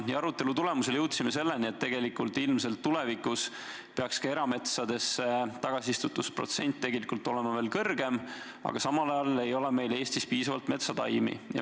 Arutelu tulemusel jõudsime selleni, et tegelikult ilmselt peaks erametsadesse istutuse protsent tegelikult olema veel kõrgem, aga samal ajal ei ole meil Eestis piisavalt metsataimi.